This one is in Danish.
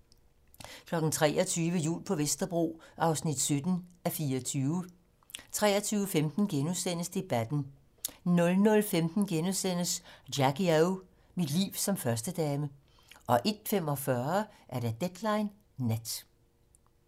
23:00: Jul på Vesterbro (17:24) 23:15: Debatten * 00:15: Jackie O - Mit liv som førstedame * 01:45: Deadline nat